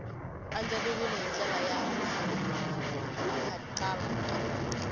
andlariwile hi ndlela ya nkhaqato